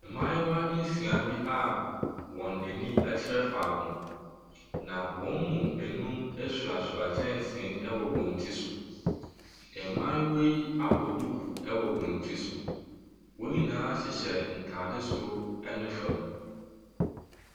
Mmayewa nsia bi a wɔn ani kyerɛ faako, na wɔn mu nnum soasoa kyɛnsee wɔ wɔn ti so. Mmayewa yi abɔ duku wɔ wɔn ti so. Wɔn nyinaa hyehyɛ ntade soro ne fam.